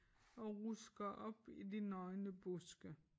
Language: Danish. Og rusker op i de nøgne buske